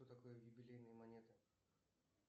что такое юбилейные монеты